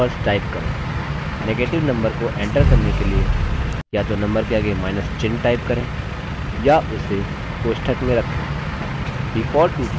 negative number को enter करने के लिए या तो number के आगे माइनस चिन्ह type करें या उसे कोष्ठक में रखें